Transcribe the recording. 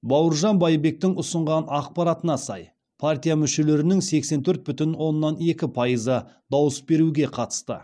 бауыржан байбектің ұсынған ақпаратына сай партия мүшелерінің сексен төрт бүтін оннан екі пайызы дауыс беруге қатысты